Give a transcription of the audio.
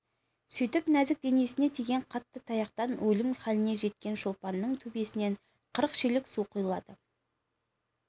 сөйтіп нәзік денесіне тиген қатты таяқтан өлім халіне жеткен шолпанның төбесінен қырық шелек су құйылады